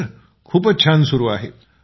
sir खूपच छान सुरु आहे